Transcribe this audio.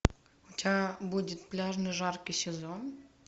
у тебя будет пляжный жаркий сезон